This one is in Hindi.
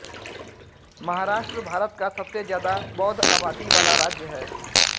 महाराष्ट्र भारत का सबसे ज्यादा बौद्ध आबादी वाला राज्य है